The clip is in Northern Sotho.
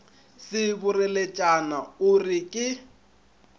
se boreletšana o re ke